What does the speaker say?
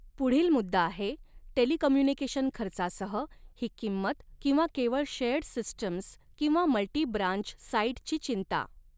पुढील मुद्दा आहे टेलिकम्युनिकेशन खर्चासहः ही किंमत किंवा केवळ शेअर्ड सिस्टम्स किंवा मल्टी ब्रांच साइटची चिंता.